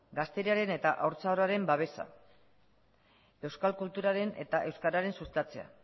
gazteriaren eta haurtzaroaren babesa euskal kulturaren eta euskararen sustatzea